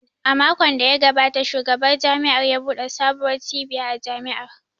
A makon da ya gabata Shugaban Jami’ar ya buɗe sabuwar cibiya a Jami’ar